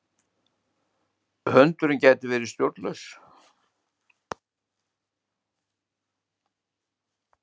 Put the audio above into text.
Hundurinn gæti verið stjórnlaus.